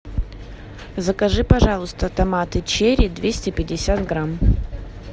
закажи пожалуйста томаты черри двести пятьдесят грамм